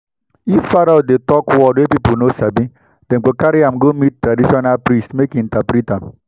if parrot dey talk word wey people no sabi dem go carry am go meet traditional priest make e interpret am.